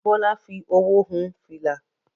Bólà fi owó hun fìlà.